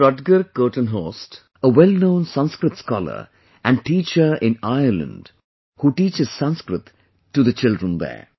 Rutger Kortenhorst, a wellknown Sanskrit scholar and teacher in Ireland who teaches Sanskrit to the children there